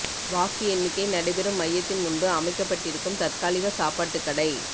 வாக்கு எண்ணிக்கை நடைபெறும் மையத்தின் முன்பு அமைக்கப்பட்டிருக்கும் தற்காலிக சாப்பாட்டுக் கடை